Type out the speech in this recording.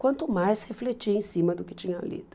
Quanto mais refletir em cima do que tinha lido.